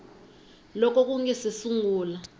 loko ku nga si sungula